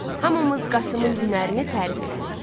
Hamımız Qasımın hünərini tərif elədik.